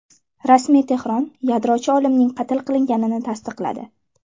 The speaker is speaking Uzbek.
Rasmiy Tehron yadrochi olimning qatl qilinganini tasdiqladi.